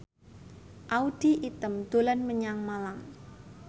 Audy Item dolan menyang Malang